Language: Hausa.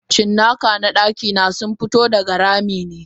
Cinnaka na dakina sunfi to daga ramine.